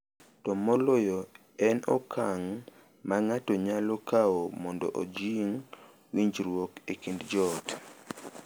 To moloyo, en okang’ ma ng’ato nyalo kawo mondo ojing’ winjruok e kind joot.